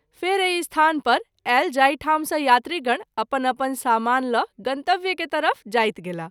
फेरि एहि स्थान पर आयल जाहि ठाम सँ यात्री गण अपन अपन सामान ल’ गंतव्य के तरफ जाइत गेलाह।